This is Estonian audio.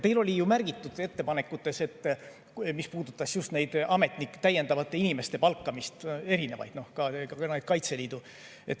Teil oli ju ka teisi ettepanekuid, mis puudutasid just täiendavate inimeste palkamist ja ka Kaitseliitu.